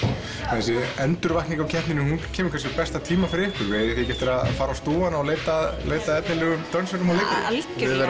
þessi endurvakning á keppninni hún kemur kannski á besta tíma fyrir ykkur eigið þið ekki eftir að fara á stúfana og leita leita að efnilegum dönsurum og leikurum algjörlega